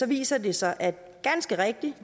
viser det sig ganske rigtigt at